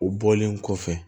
U bɔlen kɔfɛ